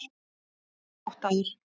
Ég er háttaður.